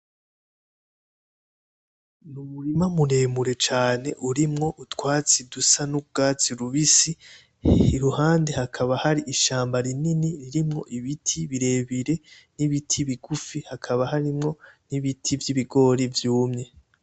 N’umurima muremure cane urimwo utwatsi dusa n’urwatsi rubisi iruhande hakaba hari ishamba rinini ririmwo ibiti birebire n’ibiti bigufi hakaba harimwo n’ibiti vy’ibigori vyumye.